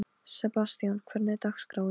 Sebastian, hvernig er dagskráin?